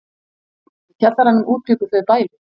Í kjallaranum útbjuggu þau bæli.